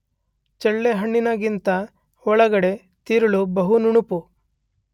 ಚಳ್ಳೆಹಣ್ಣಿನಂತೆ ಒಳಗಡೆ ತಿರುಳು ಬಹು ನುಣುಪು.